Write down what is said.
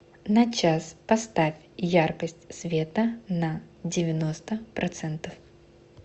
на час поставь яркость света на девяносто процентов